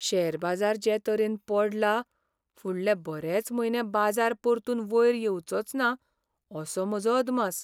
Share बाजार जे तरेन पडला, फुडले बरेच म्हयने बाजार परतून वयर येवचोच ना असो म्हजो अदमास.